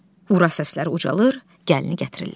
Ura səsləri ucalır, gəlini gətirirlər.